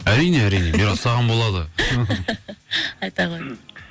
әрине әрине мирас саған болады айта ғой